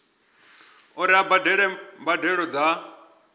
uri a badele mbadelo dza